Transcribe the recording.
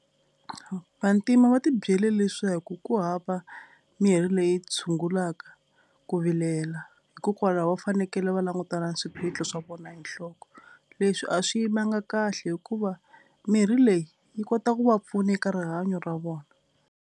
Vantima va ti byele leswaku ku hava mirhi leyi tshungulaka ku vilela hikokwalaho va fanekele va langutana na swiphiqo swa vona hi nhloko. Leswi a swi yimanga kahle hikuva mirhi leyi yi kotaka ku va pfuna eka rihanyo ra vona.